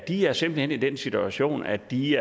er simpelt hen i den situation at de